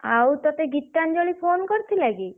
ଆଉ ତତେ ଗୀତାଞ୍ଜଳି phone କରିଥିଲା କି?